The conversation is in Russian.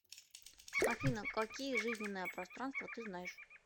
афина какие жизненное пространство ты знаешь